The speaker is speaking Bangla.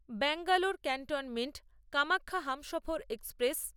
Bangalore cantonment Kamakhya Humsafar express